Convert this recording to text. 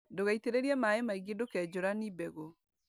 Ndũgaitĩrĩrie maĩ maingĩ ndũkenjũrani mbegũ.